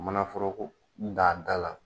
Manaforoko da a da la